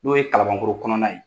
N'o ye kalabankoro kɔnɔna ye.